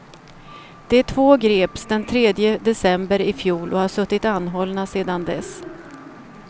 De två greps den tredje december i fjol och har suttit anhållna sedan dess.